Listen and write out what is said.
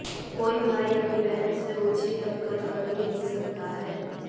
कोई भाई अपनी बहन से ओछी हरकत कर ही नहीं सकता है